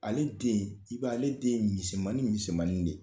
Ale den, i b'a ye ale den ye misɛmani misɛmanin de ye.